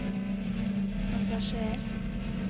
passasjer